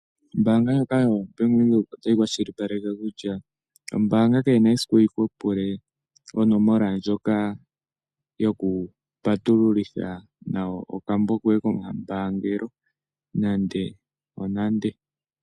Ombaanga ndjoka yaBank Windhoek ota yi kwashili paleke kutya, ombaanga kayina esiku yi ku pule onomola ndjoka yoku patululitha nayo okambo koye kombaanga nande nande.